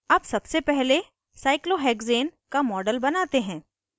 अब सबसे पहले cyclohexane का model बनाते हैं